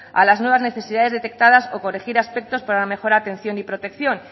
a las nuevas necesidades detectadas o corregir aspectos para una mejor atención y protección